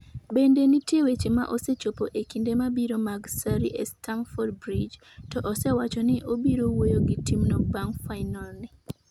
Bende nitie weche ma osechopo e kinde mabiro mag Sarri e Stamford Bridge, to osewacho ni obiro wuoyo gi timno bang' final ni.